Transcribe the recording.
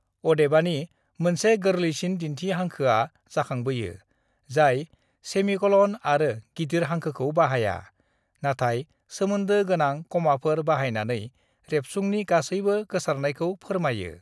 "अदेबानि, मोनसे गोरलैसिन दिन्थि हांखोआ जाखांबोयो, जाय सेमिक'लन आरो गिदिर हांखोखौ बाहाया, नाथाय सोमोन्दो गोनां कमाफोर बाहायनानै रेबसुंनि गासैबो गोसारनायखौ फोरमायो।"